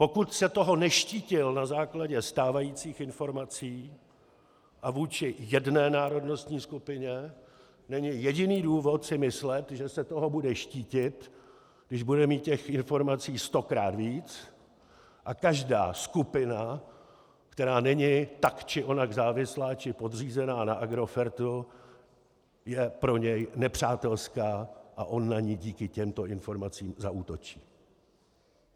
Pokud se toho neštítil na základě stávajících informací a vůči jedné národnostní skupině, není jediný důvod si myslet, že se toho bude štítit, když bude mít těch informací stokrát víc, a každá skupina, která není tak či onak závislá či podřízená na Agrofertu, je pro něj nepřátelská a on na ni díky těmto informacím zaútočí.